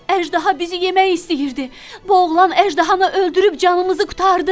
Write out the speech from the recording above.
Əjdaha bizi yemək istəyirdi, bu oğlan əjdahanı öldürüb canımızı qurtardı.